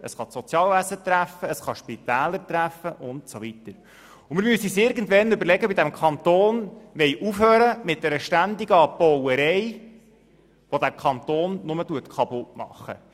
es kann das Sozialwesen treffen, es kann Spitäler treffen usw. Wir müssen uns irgendwann überlegen, ob wir in diesem Kanton mit der ständigen «Abbauerei» aufhören wollen, die den Kanton nur kaputtmacht.